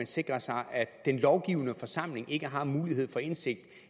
sikrer sig at den lovgivende forsamling ikke har mulighed for indsigt